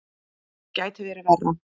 Það gæti verið verra.